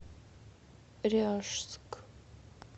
ряжск